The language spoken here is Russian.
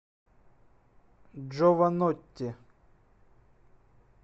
джованотти